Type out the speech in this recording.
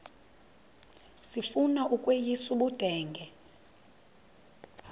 sifuna ukweyis ubudenge